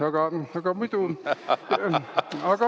Aga muidu …